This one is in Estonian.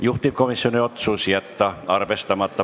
Juhtivkomisjoni otsus: jätta arvestamata.